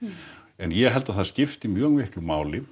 en ég held að það skipti mjög miklu máli